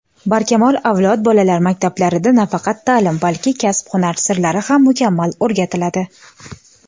"Barkamol avlod" bolalar maktablarida nafaqat ta’lim balki kasb-hunar sirlari ham mukammal o‘rgatiladi.